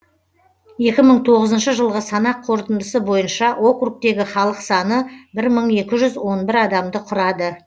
екі мың тоғызыншы жылғы санақ қорытындысы бойынша округтегі халық саны бір мың екі жүз он бір адамды құрады